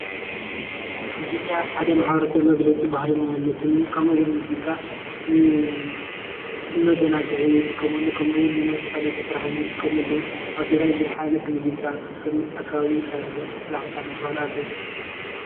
ሙዚቃ ሓደ ማሕበረሰብ መግለፂ ባህሉን መንነቱን እዩ። ከምኡ እውን ሙዚቃ ንመዘናግዒ ይጥቀመሉ። ከም እውን ንመሳለጢ ስራሕ ዝጥቀመሉ እዩ። ኣብ ትግራይ ብዙሕ ዓይነት ሙዚቃ ከከም ከባቢኡ ይፈላለ። ብዙሕ ዓይነት ባህሊ ኣሎ።